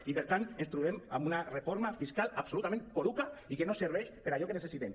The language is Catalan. i per tant ens trobem amb una reforma fiscal absolutament poruga i que no servei per a allò que necessitem